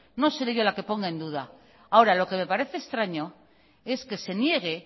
no seré yo la que ponga en duda ahora lo que me parece extraño es que se niegue